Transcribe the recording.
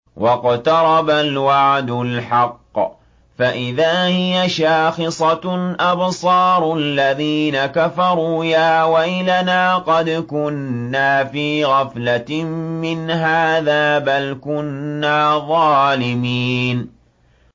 وَاقْتَرَبَ الْوَعْدُ الْحَقُّ فَإِذَا هِيَ شَاخِصَةٌ أَبْصَارُ الَّذِينَ كَفَرُوا يَا وَيْلَنَا قَدْ كُنَّا فِي غَفْلَةٍ مِّنْ هَٰذَا بَلْ كُنَّا ظَالِمِينَ